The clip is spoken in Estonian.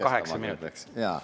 Jaa, kaheksa minutit.